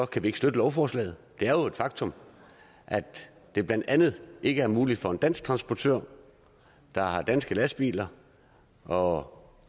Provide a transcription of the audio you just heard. kan vi ikke støtte lovforslaget det er jo et faktum at det blandt andet ikke er muligt for danske transportører der har danske lastbiler og